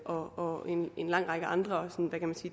og en lang række andre